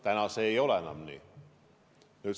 Täna ei ole see enam nii.